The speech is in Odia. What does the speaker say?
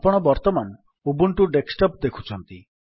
ଆପଣ ବର୍ତ୍ତମାନ ଉବୁଣ୍ଟୁ ଡେସ୍କଟପ୍ ଦେଖୁଛନ୍ତି